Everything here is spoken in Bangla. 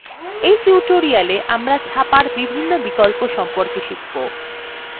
in tutorial আমরা ছাপার বিভিন্ন বিকল্প সম্পর্কে শিখব যেমন